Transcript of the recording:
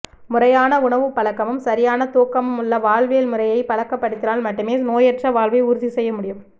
முறையான உணவுப் பழக்கமும் சரியான தூக்கமும் உள்ள வாழ்வியல் முறையை பழக்கப்படுத்தினால் மட்டுமே நோயற்ற வாழ்வை உறுதி செய்ய முடியும்